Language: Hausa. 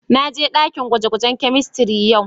Na je dakin gwaje-gwajen chemistry yau.